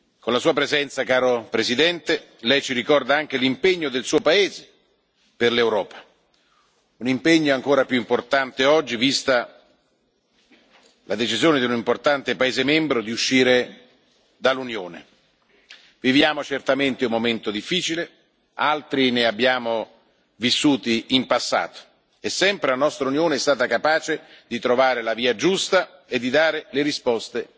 Con la Sua presenza, caro Presidente, Lei ci ricorda anche l'impegno del Suo paese per l'Europa. Un impegno ancora più importante oggi, vista la decisione di un importante paese membro di uscire dall'Unione. Viviamo certamente un momento difficile, altri ne abbiamo vissuti in passato, e sempre la nostra Unione è stata capace di trovare la via giusta e di dare le risposte